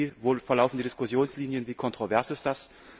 Wie verlaufen die Diskussionslinien, wie kontrovers ist das?